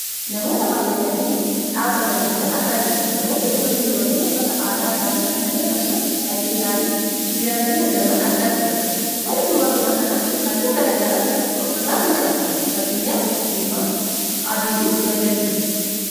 Namoota baayyatanii dhaabbatanii jiran argaa jirra. Namoonni kunneen dubartoota uffata aadaa isaanii uffatanii akkasumas callee isaanii diratanii argaman argaa jirra. Uffanni dubartoota kanaa halluu gara garaa of irraa kan qabudha, fakkeenyaaf diimaa, adiifi magariisadha.